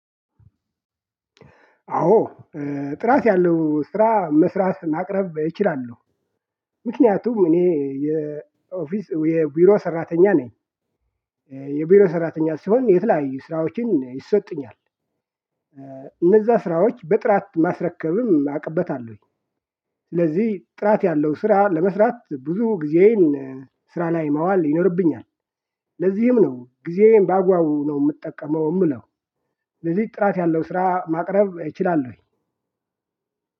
አዎ ጥራት ያለው ስራ መስራት ማቅረብ እችላለሁ። ምክንያቱም እኔ የኦፊስ የቢሮ ሰራተኛ ነኝ። የቢሮ ሰራተኛ ስሆን የተለያዩ ስራዎችን ይሰጡኛል። እነዛ ስራዎች በጥራት ማስረከብም አቅበታለሁኝ። ስለዚህ ጥራት ያለው ስራ ለመስራት ብዙ ጊዜን ስራ ላይ ማዋል ይኖርብኛል። ለዚህም ነው ጊዜዬን በአግባቡ ነው የምጠቀመው የምለው። ለዚህ ጥራት ያለው ስራ ማቅረብ እችላለሁኝ።